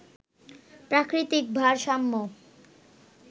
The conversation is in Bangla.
প্রাকৃতিক ভারসাম্য